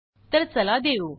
तर चला देऊ